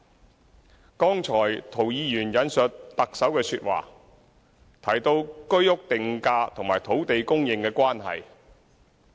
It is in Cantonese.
涂謹申議員剛才引述特首的說話，提到居者有其屋定價與土地供應的關係。